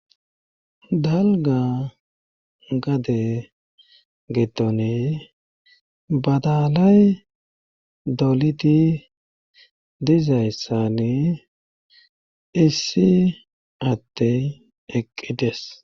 dalga gade gedone badalay dolidi dizayssane issi addey eqqides